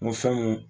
Muso mun